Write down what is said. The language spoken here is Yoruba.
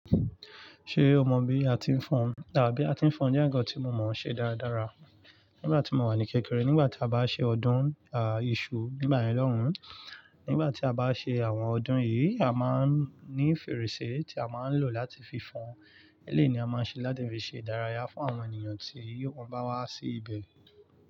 Ṣé o mọ bí a ti ń fọn àaa, bí a ti ń fọn? Ó jẹ́ ǹkan tí mo mọ̀ ọ́n ṣe dáradára. Nígbà tí mo wà ní kékeré, nígbà tí a bá ṣe ọdún a, ìṣù nigba yen loùn, nígbà tí a bá ṣe àwọn ọdún yìí, a máa ń ní fèrèsé tí a máa ń lò láti fi fọn. Eléyii ni a máa ṣe láti fi ṣe ìdárayá fún àwọn ènìyàn tí wòn bá wá sí ibẹ̀